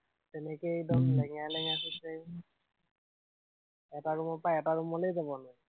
তেনেকেই উম মই লেঙেৰাই লেঙাৰেই খোঁজ কাঢ়িলো। এটা ৰুমৰ পৰা এটা ৰুম লেই যাব নোৱাৰো